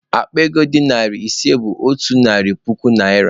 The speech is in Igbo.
Akpa ego dị narị ise bụ otu narị puku naịra.